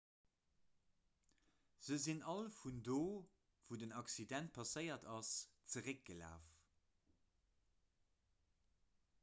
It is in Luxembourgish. se sinn all vun do wou den accident passéiert ass zeréckgelaf